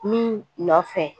Min nɔ fɛ